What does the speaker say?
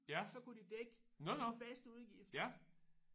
Så kunne de dække faste udgifter